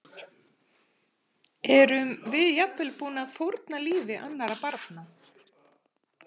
Erum við jafnvel tilbúin að fórna lífi annarra barna?